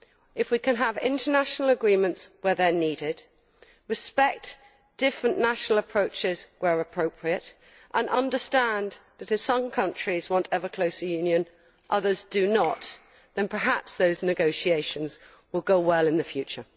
If we can have international agreements where they are needed, respect different national approaches where appropriate, and understand that, although some countries want ever closer union, others do not, then perhaps those negotiations will go well in the future.